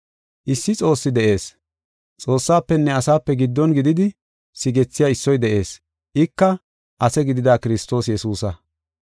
Issi Xoossi de7ees. Xoossafenne asape giddon gididi sigethiya issoy de7ees; ika ase gidida Kiristoos Yesuusa.